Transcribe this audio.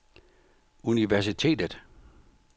universitetet